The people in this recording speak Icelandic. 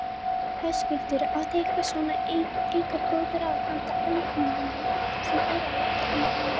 Höskuldur: Áttu eitthvað svona einhver góð ráð handa ökumönnum sem eru að leggja í hann?